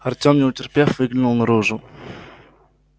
артём не утерпев выглянул наружу